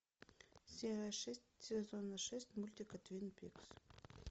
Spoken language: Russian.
серия шесть сезона шесть мультика твин пикс